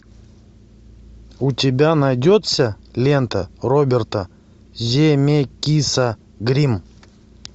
у тебя найдется лента роберта земекиса гримм